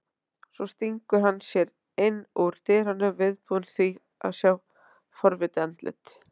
Svo stingur hann sér inn úr dyrunum, viðbúinn því að sjá forvitið andlit